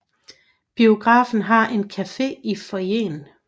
Biografen har en café i foyeren